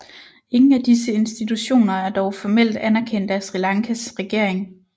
Ingen af disse institutioner er dog formelt anerkendt af Sri Lankas regering